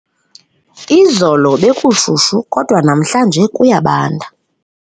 Izolo bekushushu kodwa namhlanje kuyabanda.